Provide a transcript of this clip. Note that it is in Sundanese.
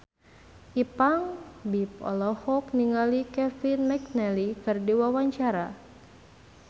Ipank BIP olohok ningali Kevin McNally keur diwawancara